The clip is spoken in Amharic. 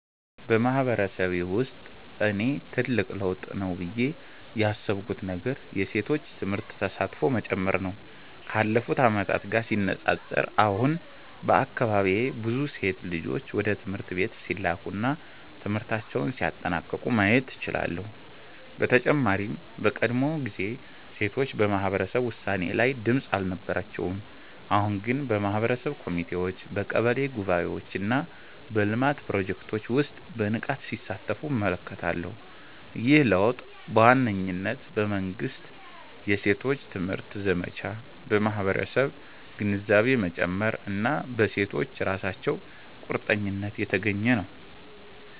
በማህበረሰቤ ውስጥ እኔ ትልቅ ለውጥ ነው ብዬ ያሰብኩት ነገር የሴቶች ትምህርት ተሳትፎ መጨመር ነው። ካለፉት ዓመታት ጋር ሲነጻጸር፣ አሁን በአካባቢዬ ብዙ ሴት ልጆች ወደ ትምህርት ቤት ሲላኩ እና ትምህርታቸውን ሲያጠናቅቁ ማየት እችላለሁ። በተጨማሪም በቀድሞ ጊዜ ሴቶች በማህበረሰብ ውሳኔ ላይ ድምጽ አልነበራቸውም፤ አሁን ግን በማህበረሰብ ኮሚቴዎች፣ በቀበሌ ጉባኤዎች እና በልማት ፕሮጀክቶች ውስጥ በንቃት ሲሳተፉ እመለከታለሁ። ይህ ለውጥ በዋነኝነት በመንግሥት የሴቶች ትምህርት ዘመቻ፣ በማህበረሰብ ግንዛቤ መጨመር እና በሴቶቹ ራሳቸው ቁርጠኝነት የተገኘ ነው።